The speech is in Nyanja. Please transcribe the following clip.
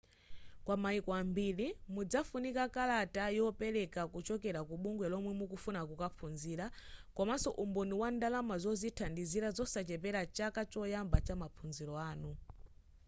kwa mayiko ambiri mudzafunika kalata yopereka kuchokera ku bungwe lomwe mukufuna kukaphunzirira komanso umboni wa ndalama zodzithandizira zosachepera chaka choyamba chamaphunziro anu